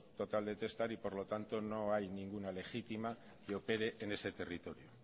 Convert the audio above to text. total de testar y por lo tanto no hay ninguna legítima que opere en ese territorio